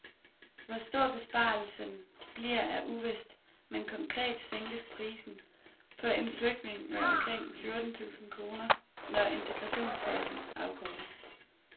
Hvor stor besparelsen bliver er uvist, men konkret sænkes prisen på en flygtning med omkring fjorten tusind kroner, når integrationsfasen afkortes.